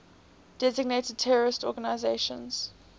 designated terrorist organizations